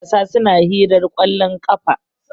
matasa suna hirar kwallon kafa